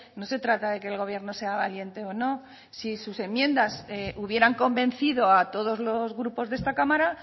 no se trata de que el gobierno sea valiente o no si sus enmiendas hubieran convencido a todos los grupos de esta cámara